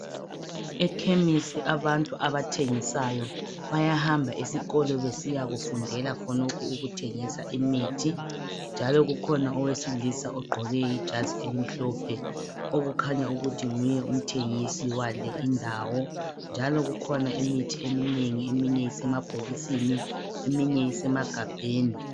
Ekhemisi abantu abathengisayo bayahamba esikolo besiyakufundela khonokho ukuthengisa imithi, njalo kukhona owesilisa ogqoke ijazi elimhlophe okukhanya ukuthi nguye umthengisi wale indawo njalo kukhona imithi eminengi eminye isemabhokisini eminye isemagabheni.